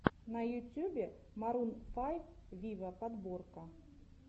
на ютюбе марун файв виво подборка